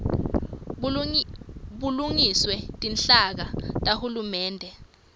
bulungiswe tinhlaka tahulumende